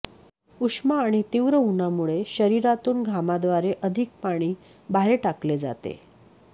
उष्मा आणि तीव्र उन्हामुळे शरीरातून घामाद्वारे अधिक पाणी बाहेर टाकले जाते